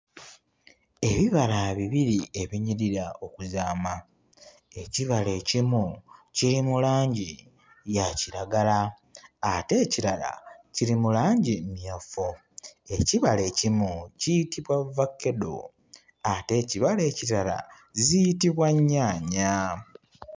Ebibala bibiri ebinyirira okuzaama; ekibala ekimu kiri mu langi ya kiragala ate ekirala kiri mu langi mmyufu. Ekibala ekimu kiyitibwa ovakkedo ate ekibala ekirala ziyitibwa nnyaanya.